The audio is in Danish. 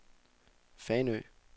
Fanø